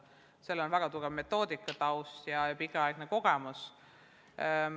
Keelekümblusel on väga tugev metoodikataust ja pikaaegne kogemus.